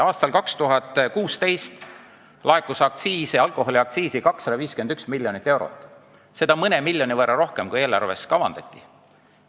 Aastal 2016 laekus alkoholiaktsiisi 251 miljonit eurot, seda oli mõne miljoni võrra rohkem, kui eelarves kavandati.